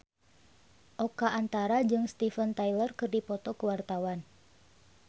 Oka Antara jeung Steven Tyler keur dipoto ku wartawan